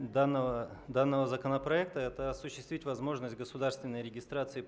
данного данного законопроекта это осуществить возможность государственной регистрации